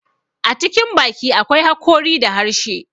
A cikin baki akwai hakori da harshe.